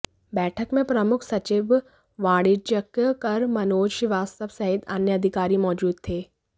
बैठक में प्रमुख सचिव वाणिज्यिक कर मनोज श्रीवास्तव सहित अन्य अधिकारी मौजूद थे